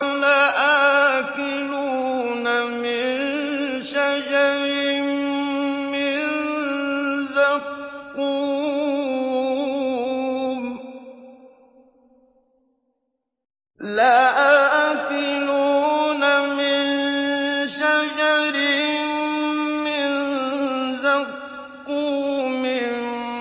لَآكِلُونَ مِن شَجَرٍ مِّن زَقُّومٍ